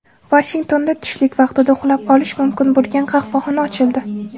Vashingtonda tushlik vaqtida uxlab olish mumkin bo‘lgan qahvaxona ochildi.